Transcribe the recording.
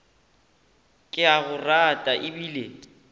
ke a go rata ebile